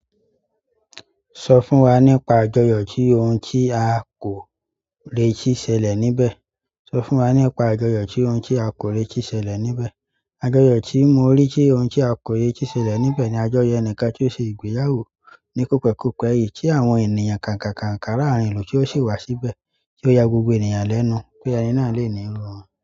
Sọ fún wa nípa àjọyọ̀ tí ohun tí a kò reti ṣẹlẹ̀ níbẹ̀. Sọ fún wa nípa àjọyọ̀ tí ohun tí a kò lè tìí ṣẹlẹ̀ níbẹ̀. Àjọyọ̀ tí mo rí tí ohun tí a reti ṣẹlẹ̀ níbẹ̀ ni àjọyọ̀ ẹnìkan tí ó ṣe ìgbéyàwó ní kòpẹ̀kọ̀pẹ̀ yìí tí àwọn ènìyàn káǹkàǹkàǹ kárà làárín ìlú tí ó sì wá síbẹ̀ tí ó ya gbogbo ènìyàn lẹ́nu pé ayé náà lè ní iru rẹ̀